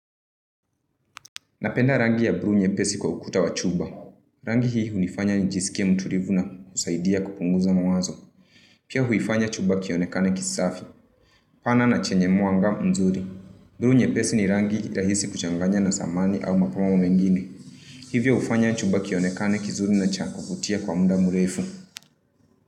Napenda rangi ya bluu pesi kukuta wa chuba. Rangi hii hu nifanya njisike muturivuna usaidia kupunguza mwazo. Pia hui fanya chuba kionekaneki safi. Pana na chenye mwangam unzuli. Brunye pesi ni rangi irahisi kuchanganya na samani au makomomo mengini. Hivyo hufanya chuba kionekaneki zuli na chankoputia kwa muda mureifu.